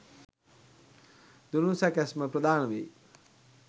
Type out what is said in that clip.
දුනු සැකැස්ම ප්‍රධාන වෙයි